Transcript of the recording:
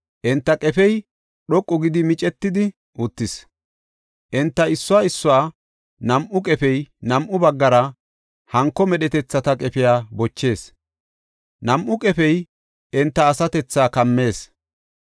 Enta qefey dhoqu gidi micetidi uttis; enta issuwa issuwa nam7u qefey nam7u baggara hanko medhetethata qefey bochees; nam7u qefey enta asatethaa kammees.